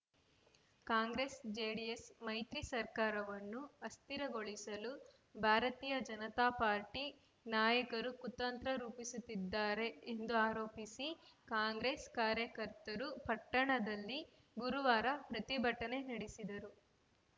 ಕಾಂಗ್ರೆಸ್‌ಜೆಡಿಎಸ್‌ ಮೈತ್ರಿ ಸರ್ಕಾರವನ್ನು ಅಸ್ಥಿರಗೊಳಿಸಲು ಭಾರತೀಯ ಜನತಾ ಪಾರ್ಟಿ ನಾಯಕರು ಕುತಂತ್ರ ರೂಪಿಸುತ್ತಿದ್ದಾರೆ ಎಂದು ಆರೋಪಿಸಿ ಕಾಂಗ್ರೆಸ್‌ ಕಾರ್ಯಕರ್ತರು ಪಟ್ಟಣದಲ್ಲಿ ಗುರುವಾರ ಪ್ರತಿಭಟನೆ ನಡೆಸಿದರು